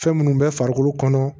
Fɛn minnu bɛ farikolo kɔnɔ